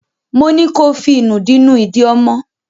Mo ní ko fí ìnùdí nú ìdí ọmọ!